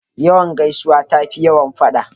Yawan gaisuwa tafi yawan fada.